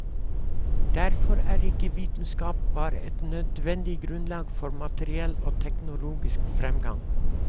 Derfor er ikke vitenskap bare et nødvendig grunnlag for materiell og teknologisk fremgang.